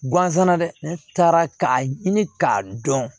Gansan dɛ ne taara k'a ɲini k'a dɔn